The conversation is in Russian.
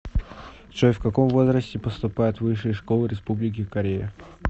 джой в каком возрасте поступают в высшие школы республики корея